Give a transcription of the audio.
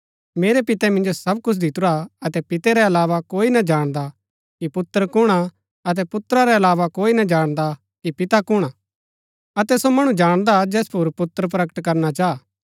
मेरै पिते मिन्जो सब कुछ दितुरा हा अतै पिते रै अलावा कोई ना जाणदा कि पुत्र कुणआ अतै पुत्रा रै अलावा कोई ना जाणदा कि पिता कुणआ अतै सो मणु जाणदा जैस पुर पुत्र प्रकट करना चाह